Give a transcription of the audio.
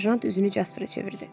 Serjant üzünü Jasperə çevirdi.